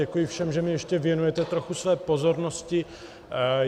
Děkuji všem, že mi ještě věnujete trochu své pozornosti.